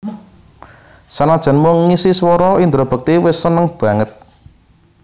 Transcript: Sanajan mung ngisi swara Indra Bekti wis seneng banget